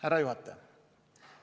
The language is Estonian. Härra juhataja!